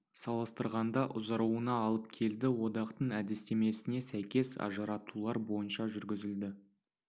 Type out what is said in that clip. салыстырғанда ұзаруына алып келді одақтың әдістемесіне сәйкес ажыратулар бойынша жүргізілді